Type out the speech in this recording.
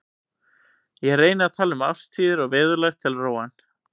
Ég reyni að tala um árstíðir og veðurlag til að róa hann.